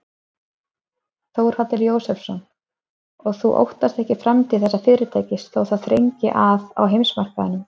Þórhallur Jósefsson: Og þú óttast ekki framtíð þessa fyrirtækis þó það þrengi að á heimsmarkaðnum?